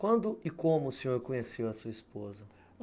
Quando e como o senhor conheceu a sua esposa?